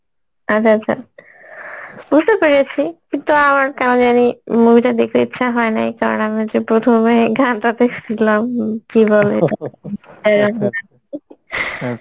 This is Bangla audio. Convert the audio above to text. আচ্ছা আচ্ছা, বুঝতে পেরেছি কিন্তু আমার কেমনজানি movie টা দেখতে ইচ্ছা হয়নাই কারণ হচ্ছে প্রথমেই গানটা দেখসিলাম